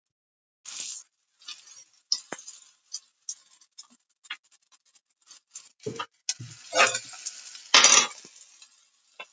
En sú afstaða leysir auðvitað ekki úr öllum þeim vanda sem spurningar um sálina skapa.